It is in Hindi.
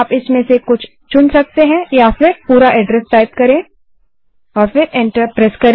आप इनमें से कुछ को चुन सकते हैं या फिर पूरा एड्रस टाइप करें और एन्टर प्रेस करें